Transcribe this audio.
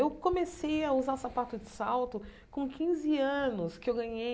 Eu comecei a usar sapato de salto com quinze anos que eu ganhei.